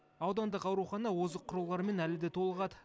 аудандық аурухана озық құрылғылармен әлі де толығады